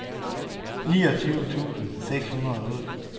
niogtyve tusind seks hundrede og otte